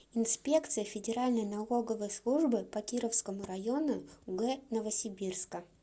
инспекция федеральной налоговой службы по кировскому району г новосибирска